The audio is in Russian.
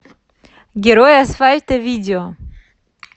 герой асфальта видео